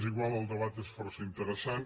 és igual el debat és força interessant